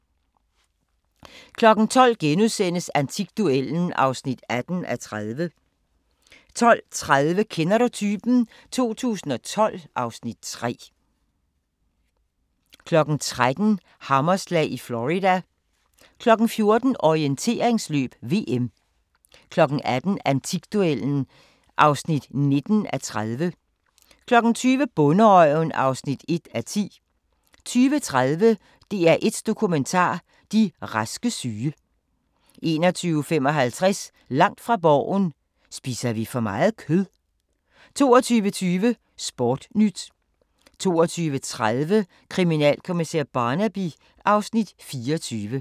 12:00: Antikduellen (18:30)* 12:30: Kender du typen? 2012 (Afs. 3) 13:00: Hammerslag i Florida 14:00: Orienteringsløb: VM 18:00: Antikduellen (19:30) 20:00: Bonderøven (1:10) 20:30: DR1 Dokumentar: De raske syge 21:55: Langt fra Borgen: Spiser vi for meget kød? 22:20: Sportnyt 22:30: Kriminalkommissær Barnaby (Afs. 24)